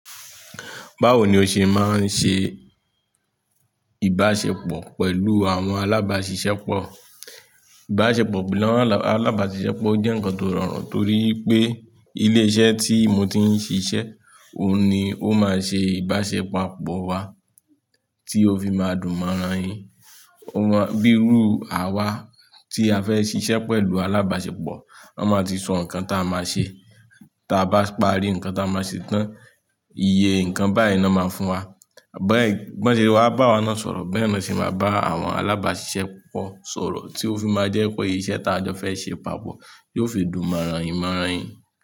Báwo ni o ṣe máa ń ṣe ìbáṣepọ̀ pẹ̀lú àwọn alábáṣiṣẹ́pọ̀? Ìbáṣepọ̀ pẹ̀lú àwọn alábáṣiṣẹ́pọ̀ o jẹ́ ǹkan tó rọrùn torí pé ilé iṣẹ́ tí mo ti ń ṣiṣẹ́, òun ni ó máa ṣe ìbáṣepàpọ̀ wa tí ó fi máa dùn mọ́ran yìí. Bíi rú àwa tí a fẹ́ ṣiṣẹ́ pẹ̀lú alábáṣepọ̀, wọ́n máa ti sọ ǹkan tá a máa ṣe. Tá a bá parí ǹkan tá a máa ṣe tán, iye ǹkan báyìí ni wọ́n máa fún wa. Bẹ́ẹ̀ kí wọ́n sì wá bá wa na sọ̀rọ̀, bẹ́ẹ̀ ni wọ́n sì máa bá àwọn alábáṣiṣẹ́pọ̀ sọ̀rọ̀ tí ó fi máa jẹ́ pé iṣẹ́ tá a jọ fẹ́ ṣe papọ̀ yóò fi dùn mọ́rain mọ́rain.